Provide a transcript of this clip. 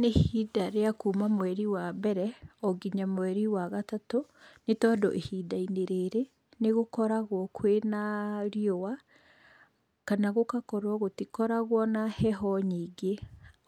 Nĩ ihinda rĩa kuuma mweri wa mbere , o nginya mweri wa gatatũ, nĩ tondũ ihinda-inĩ rĩrĩ, nĩ gũkoragwo kwĩna riũwa kana gũgakorwo gũtikoragwo na heho nyingĩ,